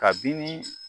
Kabini